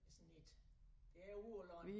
Essen ikke det er ude på æ land